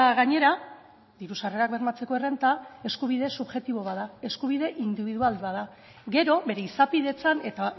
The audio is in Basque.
gainera diru sarrerak bermatzeko errenta eskubide subjektibo bat da eskubide indibidual bat da gero bere izapidetzan eta